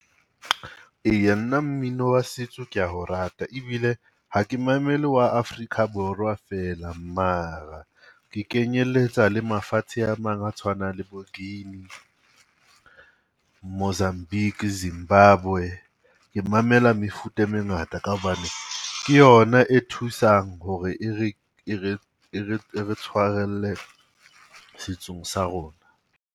Eya nna mmino wa setso ke ya o rata ebile ha ke mamele wa Afrika Borwa feela, mara ke kenyeletsa le mafatshe a mang a tshwanang le Guinea, Mozambique, Zimbabwe. Ke mamela mefuta e mengata ka hobane ke yona e thusang hore e re e re e re tshwarelle setsong sa rona.